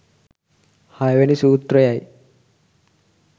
හයවැනි සූත්‍රයයි.